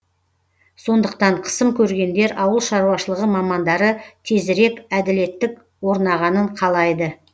сондықтан қысым көргендер ауыл шаруашылығы мамандары тезірек әділеттік орнағанын қалайды